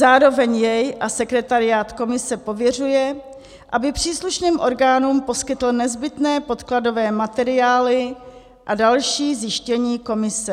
zároveň jej a sekretariát komise pověřuje, aby příslušným orgánům poskytl nezbytné podkladové materiály a další zjištění komise;